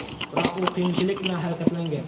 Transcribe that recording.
Biroq u qiyinchilik bilan harakatlangan.